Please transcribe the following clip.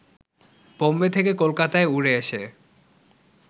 বোম্বে থেকে কলকাতায় উড়ে এসে